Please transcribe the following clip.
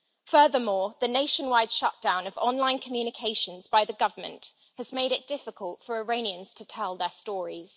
Furthermore, the nationwide shutdown of online communications by the government has made it difficult for Iranians to tell their stories.